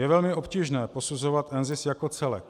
Je velmi obtížné posuzovat NZIS jako celek.